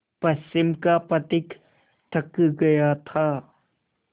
पश्चिम का पथिक थक गया था